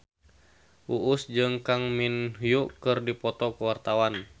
Uus jeung Kang Min Hyuk keur dipoto ku wartawan